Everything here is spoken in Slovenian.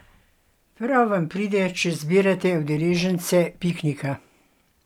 Prav vam pride, če zbirate udeležence piknika.